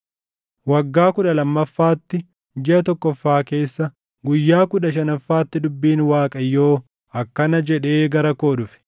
Waggaa kudha lammaffaatti, jiʼa tokkoffaa keessa, guyyaa kudha shanaffaatti dubbiin Waaqayyoo akkana jedhee gara koo dhufe: